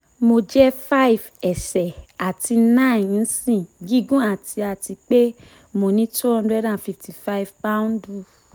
mo jẹ́ five ẹsẹ̀ àti nine ìnṣì gígùn àti àti pe mo ní two hundred and fifty five pạ́ùndù